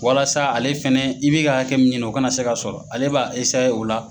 Walasa ale fɛnɛ i bɛ ka hakɛ min ɲini o kana se ka sɔrɔ ale b'a o la